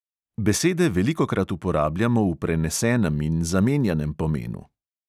Besede velikokrat uporabljamo v prenesenem in zamenjanem pomenu.